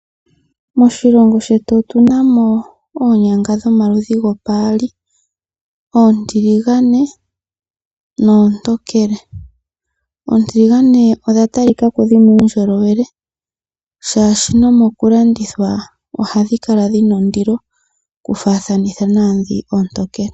Moshilongo shetu otu na mo oonyanga dhomaludhi go paali, oontiligane noontokele. Oontiligane odha tali ka ko dhi na uundjolowele oshoka no mokulandithwa ohadhi kala dhina ondilo, oku faathanitha naadhi oontokele.